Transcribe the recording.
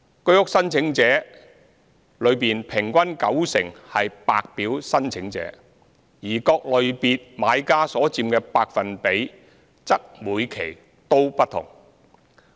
居屋申請者中平均九成為白表申請者，而各類別買家所佔百分比則每期均不同。